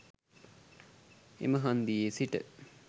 එම හන්දියේ සිට